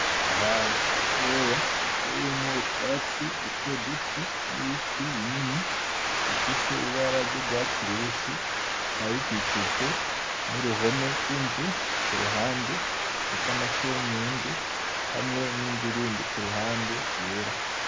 ahantu hatoya hateyemwo utwatsi dutoduto n'ibiti binini bifise ibara ry'urwatsi rubisi bikaba bikikijwe n'uruhome rw'inzu kuruhande rufise n'amasenyenge hamwe n'inzu yindi kuruhande yera.